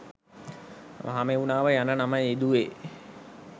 මහමෙව්නාව යන නම යෙදුවේ